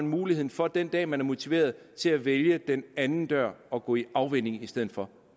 muligheden for den dag man er motiveret at vælge den anden dør og gå i afvænning i stedet for